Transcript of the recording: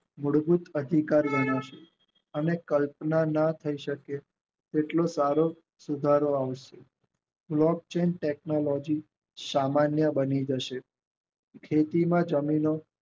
મૂળભૂત અધિકાર ગણાય છે અને કલ્પના થાય શકે છે કેટલો સારો સુધારો આવે છે લોક ચેન્જ ટેક્નોલોજી સામાન્ય બની જશે ખેતીને જમીનો